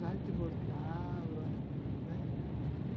Lá a gente voltava, né